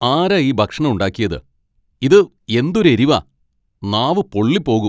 ആരാ ഈ ഭക്ഷണം ഉണ്ടാക്കിയത്? ഇത് എന്തൊരു എരിവാ , നാവ് പൊള്ളിപ്പോകും .